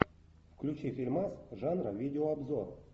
включи фильмас жанра видеообзор